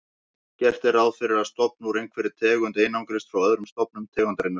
Gert er ráð fyrir að stofn úr einhverri tegund einangrist frá öðrum stofnum tegundarinnar.